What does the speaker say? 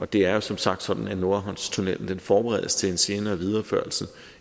det er jo som sagt sådan at nordhavnstunnellen forberedes til en senere videreførsel